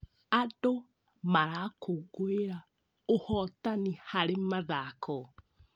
Andũ marakũngũĩra ũhotani harĩ mathako.